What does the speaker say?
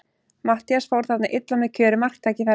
Matthías fór þarna illa með kjörið marktækifæri.